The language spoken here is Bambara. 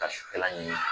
Ka sufɛla ɲini